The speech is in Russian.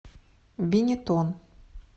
бенетон